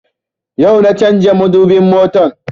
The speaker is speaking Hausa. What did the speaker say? Yau na canza madubin motan